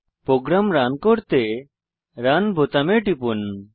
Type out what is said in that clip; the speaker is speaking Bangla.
প্রোগ্রাম রান করতে রান বোতামে টিপুন